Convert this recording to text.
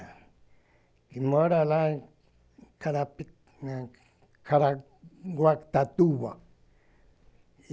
Que mora lá em Carapi Caraguatatuba.